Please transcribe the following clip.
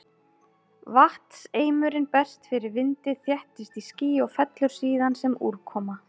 Vatnseimurinn berst fyrir vindi, þéttist í ský og fellur síðan sem úrkoma.